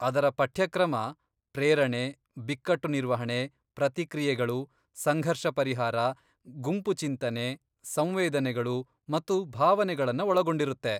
ಅದರ ಪಠ್ಯಕ್ರಮ ಪ್ರೇರಣೆ, ಬಿಕ್ಕಟ್ಟು ನಿರ್ವಹಣೆ, ಪ್ರತಿಕ್ರಿಯೆಗಳು, ಸಂಘರ್ಷ ಪರಿಹಾರ, ಗುಂಪು ಚಿಂತನೆ, ಸಂವೇದನೆಗಳು ಮತ್ತು ಭಾವನೆಗಳನ್ನ ಒಳಗೊಂಡಿರತ್ತೆ.